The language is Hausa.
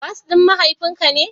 Bas din mahaifin ka ne?